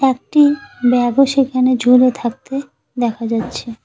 একটি ব্যাগও সেখানে ঝুলে থাকতে দেখা যাচ্ছে।